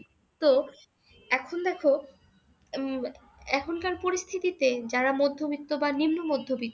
তো এখন দেখ উম এখনকার পরিস্থিতিতে যারা মধ্যবিত্ত বা নিম্ন মধ্যবিত্ত